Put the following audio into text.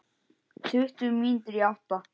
Tuttugu mínútur í átta.